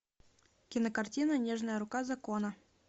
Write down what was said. кинокартина нежная рука закона